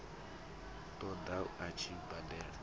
ṱo ḓa a tshi badela